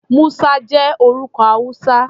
Musa jẹ́ orúkọ Hausa.